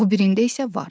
O birində isə var.